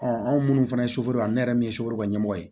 anw minnu fana ye suforo la ne yɛrɛ min ye suburu ɲɛmɔgɔ ye